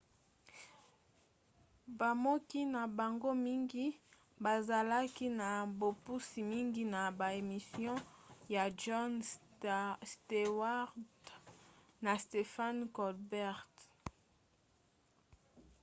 bakomi na bango mingi bazalaki na bopusi mingi na ba emission ya jon stewart na stephen colbert